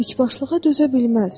Dikbaşlığa dözə bilməz.